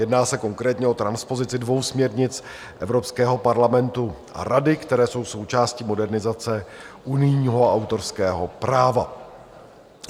Jedná se konkrétně o transpozici dvou směrnic Evropského parlamentu a Rady, které jsou součástí modernizace unijního autorského práva.